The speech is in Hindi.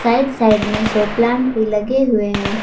राइट साइड में सो प्लांट भी लगे हुए हैं।